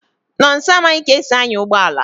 Nonso amaghị ka e si anya ụgbọala